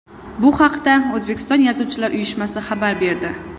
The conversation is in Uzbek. Bu haqda O‘zbekiston Yozuvchilar uyushmasi xabar berdi .